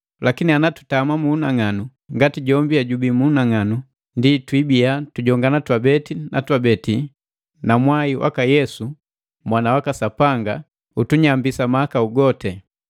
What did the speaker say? Lakini ana tutami mu unang'anu, ngati jombi hejubii mu unang'anu, ndienu twibiya tujongana twabeti na twabeti, na mwai waka Yesu, Mwana waka Sapanga utunyambisa mahakau goti.